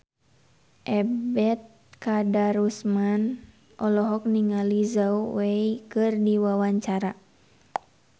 Ebet Kadarusman olohok ningali Zhao Wei keur diwawancara